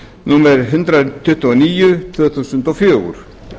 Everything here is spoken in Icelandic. númer hundrað tuttugu og níu tvö þúsund og fjögur